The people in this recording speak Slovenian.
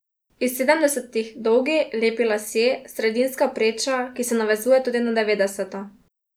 Iz sedemdesetih dolgi, lepi lasje, sredinska preča, ki se navezuje tudi na devetdeseta.